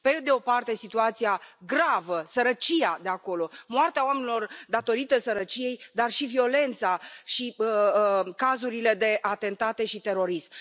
Pe de o parte, situația gravă, sărăcia de acolo, moartea oamenilor datorită sărăciei, dar și violența și cazurile de atentate și terorism.